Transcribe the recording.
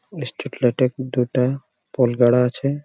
দুটা-টা pole গাড়া আছে।